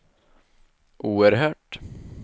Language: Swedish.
oerhört